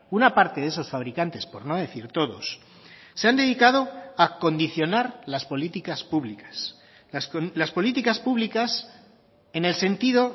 una parte de esos fabricantes por no decir todos se han dedicado a condicionar las políticas públicas las políticas públicas en el sentido